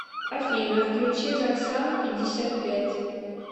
афина включи зоксана пятьдесят пять